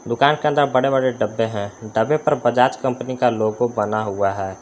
दुकान के अंदर बड़े बड़े डब्बे हैं डब्बे पर बजाज कंपनी का लोगो बना हुआ है।